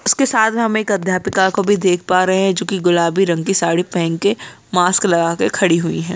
उसके साथ मे हम एक अध्यापिका को भी देख पा रहे है जो कि गुलाबी रंग की साड़ी पहन के मास्क लगा के खड़ी हुई है।